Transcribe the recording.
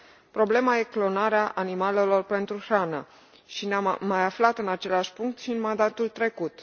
Problema e clonarea animalelor pentru hrană, și ne am mai aflat în același punct și în mandatul trecut.